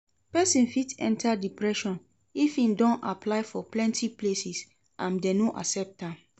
Persin fit enter depression if im don apply for plenty places and dem no accept am